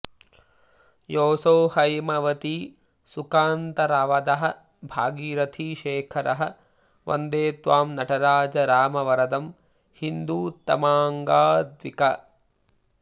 योऽसौहैमवती सुकान्तवरदः भागीरथी शेखरः वन्देत्वां नटराज रामवरदं हीन्दूत्तमाङ्गाद्विक